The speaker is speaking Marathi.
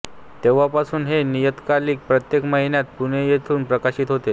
तेव्हापासून हे नियतकालिक प्रत्येक महिन्याला पुणे येथून प्रकाशित होते